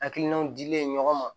Hakilinaw dilen ɲɔgɔn ma